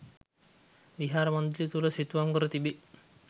විහාර මන්දිරය තුළ සිතුවම් කර තිබේ.